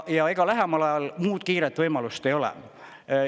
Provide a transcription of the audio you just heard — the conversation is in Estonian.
Ja ega lähemal ajal muud kiiret võimalust ei ole.